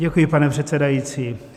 Děkuji, pane předsedající.